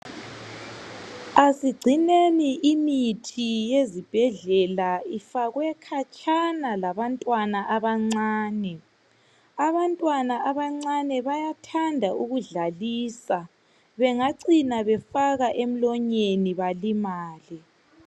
Asigcineni imithi yezibhedlela ifakwe khatshana labantwana abancane . Abantwana abancane bayathanda ukudlalisa bengacina befaka emlonyeni balimale.